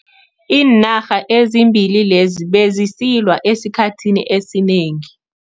Iinarha ezimbili lezi bezisilwa esikhathini esinengi.